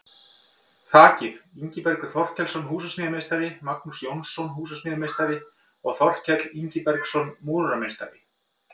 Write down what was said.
Þakið: Ingibergur Þorkelsson, húsasmíðameistari, Magnús Jónsson, húsasmíðameistari og Þorkell Ingibergsson, múrarameistari.